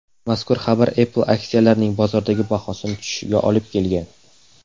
Mazkur xabar Apple aksiyalarining bozordagi bahosi tushishiga olib kelgan.